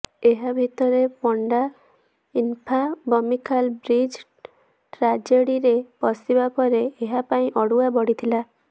ଏହା ଭିତରେ Panda infra Bomikhal bridge ଟ୍ରାଜେଡିରେ ଫସିବା ପରେ ଏହା ପାଇଁ ଅଡ଼ୁଆ ବଢିଥିଲା